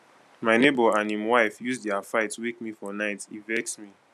my nebor and im wife use their fight wake me for night e vex me